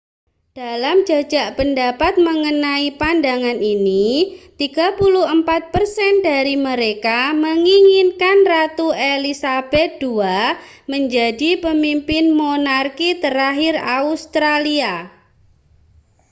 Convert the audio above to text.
dalam jajak pendapat mengenai pandangan ini 34 persen dari mereka menginginkan ratu elizabeth ii menjadi pemimpin monarki terakhir australia